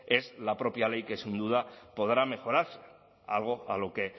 es la propia ley que sin duda podrá mejorarse algo a lo que